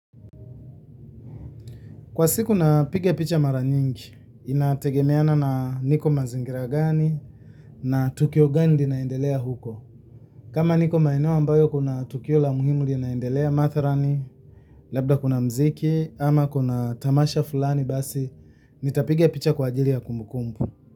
Kwa siku na piga picha mara nyingi, inategemeana na niko mazingira gani na tukio gani linaendelea uko. Kama niko maeneo ambayo kuna tukio la muhimu linaendelea matharani, labda kuna mziki ama kuna tamasha fulani basi, nitapiga picha kwa ajili ya kumbu kumbu.